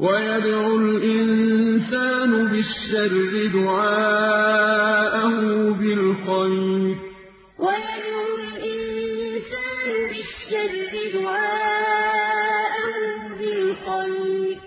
وَيَدْعُ الْإِنسَانُ بِالشَّرِّ دُعَاءَهُ بِالْخَيْرِ ۖ وَكَانَ الْإِنسَانُ عَجُولًا وَيَدْعُ الْإِنسَانُ بِالشَّرِّ دُعَاءَهُ بِالْخَيْرِ ۖ